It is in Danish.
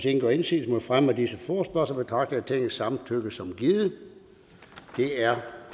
ingen gør indsigelse mod fremme af disse forespørgsler betragter jeg tingets samtykke som givet det er